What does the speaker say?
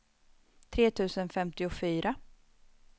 tre tusen femtiofyra